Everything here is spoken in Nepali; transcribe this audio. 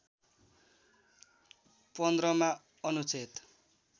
१५ मा अनुच्छेद